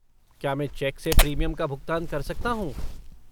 क्या मैं चेक से प्रीमियम का भुगतान कर सकता हूँ?